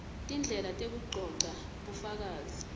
tindlela tekugcogca bufakazi